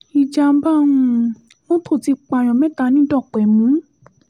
ìjàḿbà um mọ́tò ti pààyàn mẹ́ta ní dọ́pẹ́mù